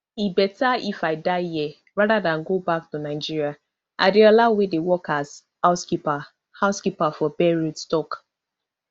e beta if i die here rather dan go back to nigeriaadeola wey dey work as housekeeper housekeeper for beirut tok